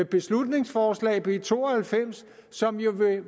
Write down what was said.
beslutningsforslag b to og halvfems som jo vil